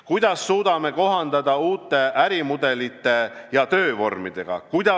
Kuidas suudame kohaneda uute ärimudelite ja töövormidega?